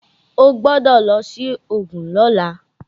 O gbọ́dọ̀ lọ sí Ògùn lọ́la!